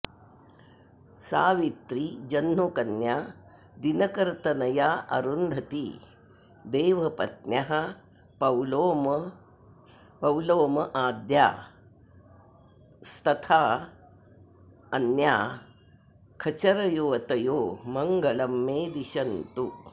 सावित्री जह्नुकन्या दिनकरतनयारुन्धती देवपत्न्यः पौलोमाद्यास्तथान्याः खचरयुवतयो मङ्गलं मे दिशन्तु